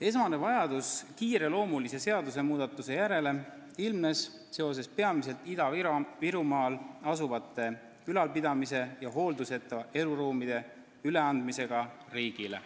Esmane vajadus kiireloomulise seadusmuudatuse järele ilmnes seoses peamiselt Ida-Virumaal asuvate ülalpidamise ja hoolduseta eluruumide üleandmisega riigile.